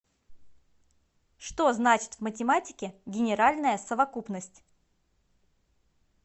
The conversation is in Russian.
что значит в математике генеральная совокупность